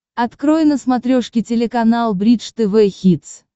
открой на смотрешке телеканал бридж тв хитс